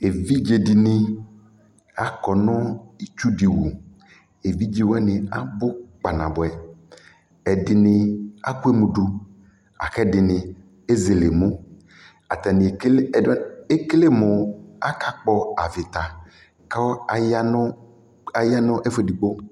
ɛvidzɛ dini akɔ nu itsʋ di wʋ evidzɛ wani abʋ kpanabuɛ ɛdini akɔɛmʋ du akɛ ɛdini ɛzɛlɛ ɛmʋ atani ɛkɛlɛ ɛdini wani ɛkɛlɛmʋ aka kpɔ avita kʋ ayanʋ ayanu ɛfʋɛ ɛdigbo